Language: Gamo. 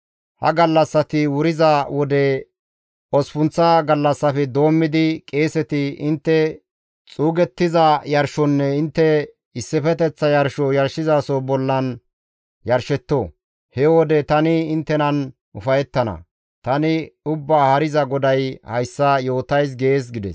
Ha gallassati wuriza wode, osppunththa gallassafe doommidi, qeeseti intte xuugettiza yarshonne intte issifeteththa yarsho yarshizaso bollan yarshetto. He wode tani inttenan ufayettana. Tani Ubbaa Haariza GODAY hayssa yootays› gees» gides.